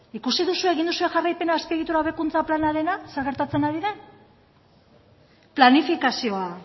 ikusi duzue egin duzue jarraipena azpiegitura hobekuntza planarena zer gertatzen ari den planifikazioa